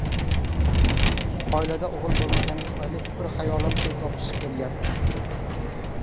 Oilada o‘g‘il bo‘lmagani tufayli fikru xayolim pul topish bo‘lgan.